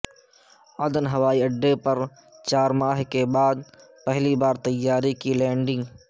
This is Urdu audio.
عدن ہوائی اڈے پر چار ماہ کے بعد پہلی بار طیارے کی لینڈنگ